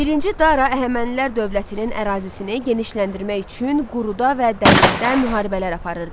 Birinci Dara Əhəmənilər dövlətinin ərazisini genişləndirmək üçün quruda və dənizdə müharibələr aparırdı.